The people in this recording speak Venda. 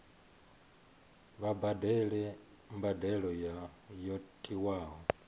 vha badele mbadelo yo tiwaho